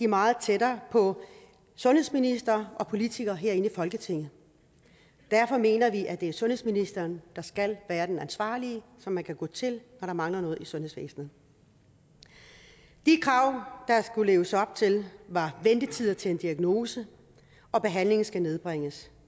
meget tættere på sundhedsminister og politikere herinde i folketinget derfor mener vi at det er sundhedsministeren der skal være den ansvarlige som man kan gå til når der mangler noget i sundhedsvæsenet de krav der skulle leves op til var at ventetider til en diagnose og behandling skal nedbringes